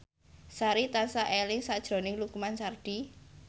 Sari tansah eling sakjroning Lukman Sardi